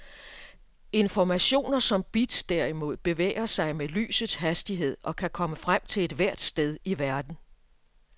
Informationer som bits derimod bevæger sig med lysets hastighed og kan komme frem til ethvert sted i verden.